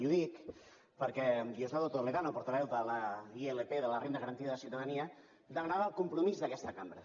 i ho dic perquè diosdado toledano portaveu de la ilp de la renda garantida de ciutadania demanava el compromís d’aquesta cambra